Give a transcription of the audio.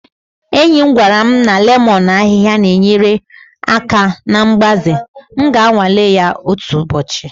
Enyi m gwara m lemon ahịhịa na-enyere aka na mgbaze, m ga-anwale ya otu ụbọchị